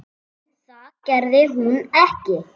En það gerði hún ekki.